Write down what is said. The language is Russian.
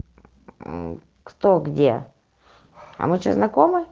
кто где а мы что знакомы